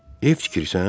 Ev tikirsən?